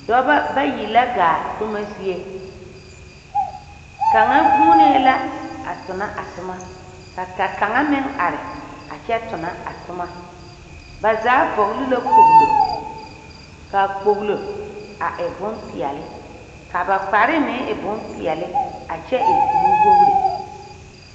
Dɔbɔ bayi la gaa toma zie. Kaŋa vuunee la a tona a toma ka ka kaŋa meŋ are a kyɛ tona a toma. Ba zaa vɔgle la kpoglo, kaa kpoglo a e bompeɛle kaa ba kparre meŋ e bompeɛle a kyɛ e nuwogiri.